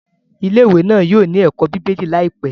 Ilé-ìwé náà yóò ní ẹ̀kọ́ bíbélì láìpẹ́.